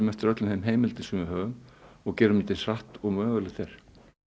eftir öllum þeim heimildum sem við höfum og gerum þetta eins hratt og mögulegt er